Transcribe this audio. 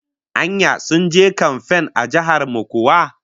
Anya sun je kamfan a jihar mu kuwa?